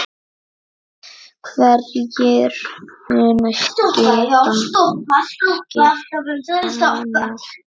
Hverjir munu skipa hana?